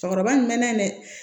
Cɛkɔrɔba nin mɛnɛ